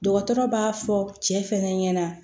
Dɔgɔtɔrɔ b'a fɔ cɛ fɛnɛ ɲɛna